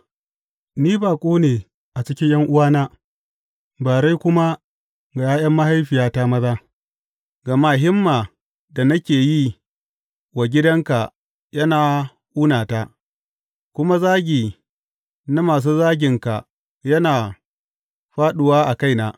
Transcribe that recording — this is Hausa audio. Ni baƙo ne a cikin ’yan’uwana, bare kuma ga ’ya’yan mahaifiyata maza; gama himma da nake yi wa gidanka yana ƙunata, kuma zagi na masu zaginka yana fāɗuwa a kaina.